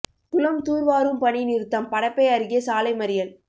குளம் துார் வாரும் பணி நிறுத்தம் படப்பை அருகே சாலை மறியல்